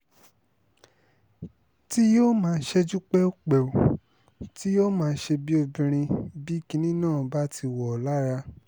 tí yóò máa ṣẹ́jú pẹ́ù pẹ́ù tí yóò má ṣe bíi obìnrin bí kinní náà bá ti wọ̀ ọ́ lára